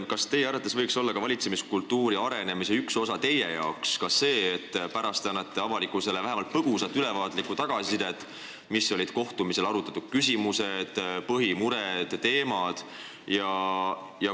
Kas teie jaoks võiks olla valitsemiskultuuri arenemise üks osa ka see, et pärast visiiti te annate avalikkusele vähemalt põgusa ülevaatliku tagasiside, mis olid kohtumisel arutatud küsimused, põhimured ja teemad?